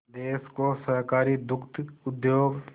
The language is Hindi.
देश को सहकारी दुग्ध उद्योग